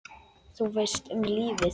Þú veist, um lífið?